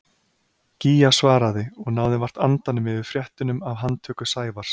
Gígja svaraði og náði vart andanum yfir fréttunum af handtöku Sævars.